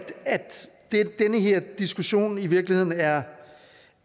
den her diskussion i virkeligheden er